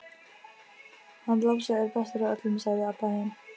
Hann Lási er bestur af öllum, sagði Abba hin.